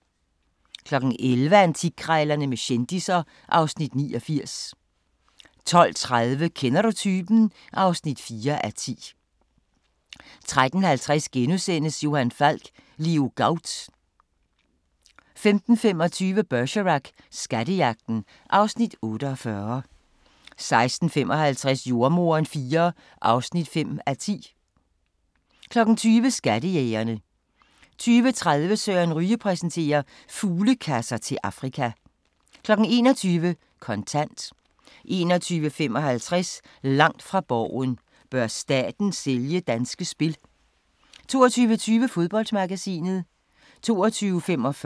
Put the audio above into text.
11:00: Antikkrejlerne med kendisser (Afs. 89) 12:30: Kender du typen? (4:10) 13:50: Johan Falk: Leo Gaut * 15:25: Bergerac: Skattejagten (Afs. 48) 16:55: Jordemoderen IV (5:10) 20:00: Skattejægerne 20:30: Søren Ryge præsenterer: Fuglekasser til Afrika 21:00: Kontant 21:55: Langt fra Borgen: Bør staten sælge Danske Spil? 22:20: Fodboldmagasinet